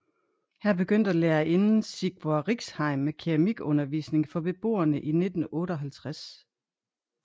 Her begyndte lærerinden Sigvor Riksheim med keramikundervisning for beboerne i 1958